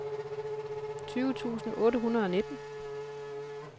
tyve tusind otte hundrede og nitten